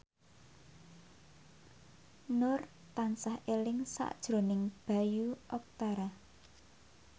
Nur tansah eling sakjroning Bayu Octara